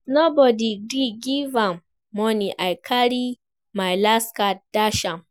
As nobody gree give am money I carry my last card dash am